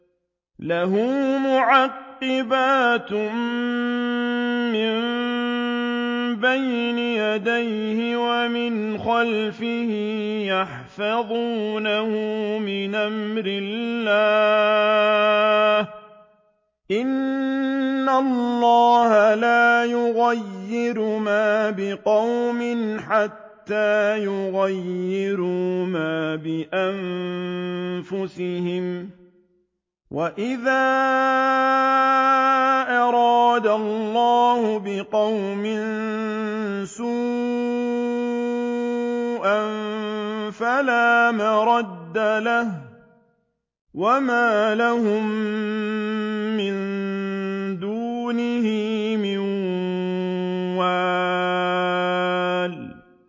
لَهُ مُعَقِّبَاتٌ مِّن بَيْنِ يَدَيْهِ وَمِنْ خَلْفِهِ يَحْفَظُونَهُ مِنْ أَمْرِ اللَّهِ ۗ إِنَّ اللَّهَ لَا يُغَيِّرُ مَا بِقَوْمٍ حَتَّىٰ يُغَيِّرُوا مَا بِأَنفُسِهِمْ ۗ وَإِذَا أَرَادَ اللَّهُ بِقَوْمٍ سُوءًا فَلَا مَرَدَّ لَهُ ۚ وَمَا لَهُم مِّن دُونِهِ مِن وَالٍ